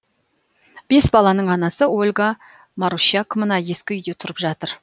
бес баланың анасы ольга марущак мына ескі үйде тұрып жатыр